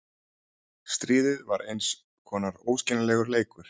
Stríðið var eins konar óskiljanlegur leikur.